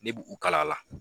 Ne b' u kala la.